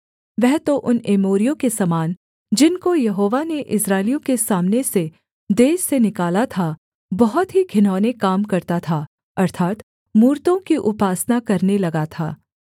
वह तो उन एमोरियों के समान जिनको यहोवा ने इस्राएलियों के सामने से देश से निकाला था बहुत ही घिनौने काम करता था अर्थात् मूरतों की उपासना करने लगा था